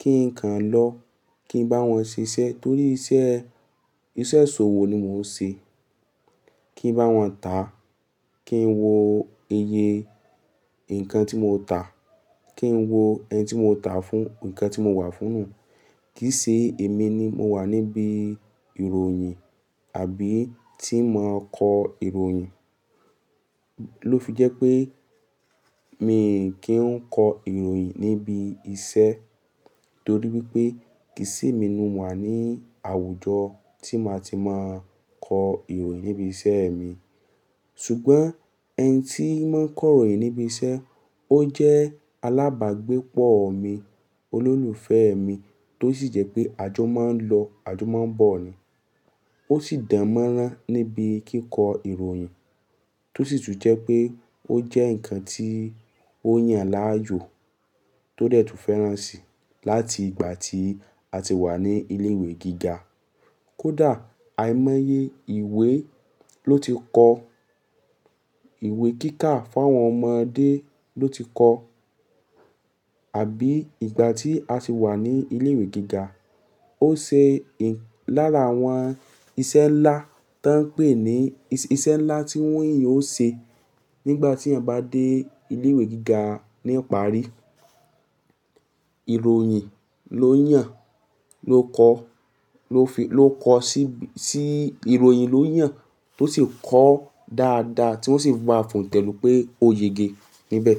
kí n kàn lọ, kí n bá wọn ṣiṣẹ́ torí iṣẹ́, iṣẹ́ ṣòwò ni mò ń ṣe. Kí n bá wọn tà, kí n wo iye ǹnkan tí mo tà, kí n wo ẹni tí mo tà fún, ǹnkan tí mo wà fún ù. Kìí ṣe èmi ni mo wà níbi ìròyìn àbí tí màá kọ ìròyìn. Ló fi jẹ́ pé mi kì í kọ ìròyìn níbi iṣẹ́ torí wípé kìí ṣe èmi ni mo wà ní àwùjọ tí màá ti máa kọ ìròyìn níbi iṣẹ́ mi. Sùgbọ́n ẹni tí í máa ń kọ ìròyìn níbi iṣẹ́, ó jẹ́ alábàágbépọ̀ mi, olólùfẹ́ mi tó sì jẹ́ pé àjọ máa ń lọ, àjọ máa ń bọ̀ ni. Ó sì dánmọ́rán níbi kíkọ ìròyìn tó sì tún jẹ́ pé ó jẹ́ ǹnkan tí ó yàn láàyò tó dẹ̀ tún fẹ́ràn si láti ìgbà tí a ti wà ní ilé ìwé gíga. Kódà àìmọye ìwé ló ti kọ, ìwé kíkà fún àwọn ọmọdé ló ti kọ. Àbí ìgbà tí a ti wà ní ilé ìwé gíga, ó ṣe lára àwọn ìṣe ńlá tó ń pè ní ìṣe ńlá tí wọ́n yàn ó ṣe nígbà tí ẹ̀ ń bá dé ilé ìwé gíga ní ọ̀pá àrí. Ìròyìn ló yàn, ló kọ, ló fi, ló kọ sí ibi, sí ìròyìn ló yàn tó sì kọ dáadáa tí wọ́n sì gba fún ù tẹ́lùú pé ó yege níbẹ̀